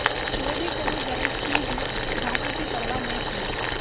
चौधरी को भी गरज थी ही घाटे की परवा न की